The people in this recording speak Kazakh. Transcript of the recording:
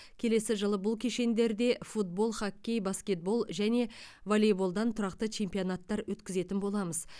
келесі жылы бұл кешендерде футбол хоккей баскетбол және волейболдан тұрақты чемпионаттар өткізетін боламыз